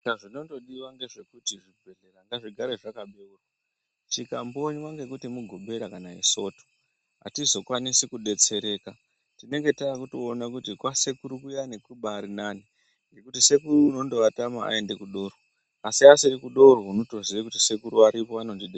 Zvinongodiwa nhezvekuti chibhedhlera ngachigare chakabeurwa chikakonywa nekuti mugovera svondo atizokwanisi kubetsereka timenge takuona kuti kwasekuru kuyani Kurinani nekuti sekuru inongovatama vaenda kudoro asi asirikudoro inotoziya kuti sekuru varipo anondibetsera.